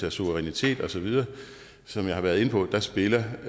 af suverænitet osv som jeg har været inde på spiller